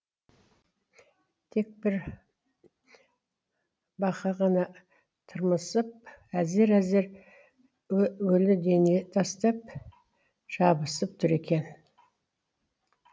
тек бір бақа ғана тырмысып әзер әзер өлі дене тастып жабысып тұр екен